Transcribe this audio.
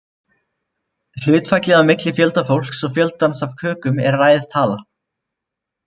Hlutfallið á milli fjölda fólks og fjöldans af kökum er ræð tala.